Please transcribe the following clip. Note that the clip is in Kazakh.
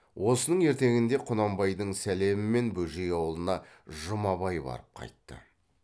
осының ертеңінде құнанбайдың сәлемімен бөжей аулына жұмабай барып қайтты